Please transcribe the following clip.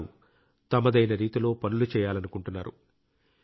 వారు తమదైన రీతిలో పనులు చేయాలనుకుంటున్నారు